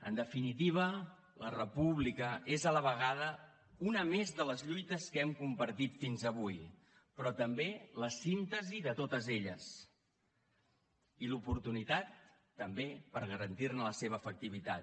en definitiva la república és a la vegada una més de les lluites que hem compartit fins avui però també la síntesi de totes elles i l’oportunitat també per garantir ne la seva efectivitat